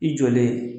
I jɔlen